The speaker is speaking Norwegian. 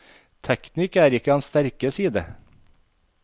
Teknikk er ikke hans sterke side.